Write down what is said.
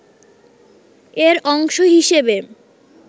এর অংশ হিসেবে